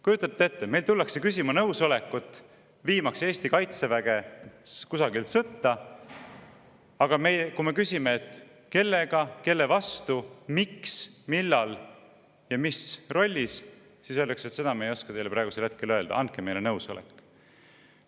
Kujutate ette, meilt tullakse küsima nõusolekut, viimaks Eesti kaitseväge kusagile sõtta, aga kui me küsime, kellega, kelle vastu, miks, millal ja mis rollis, siis öeldakse, et seda me ei oska teile praegusel hetkel öelda, aga andke meile nõusolek.